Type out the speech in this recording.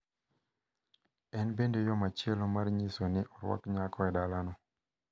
En bende yo machielo mar nyiso ni orwak nyako e dalano.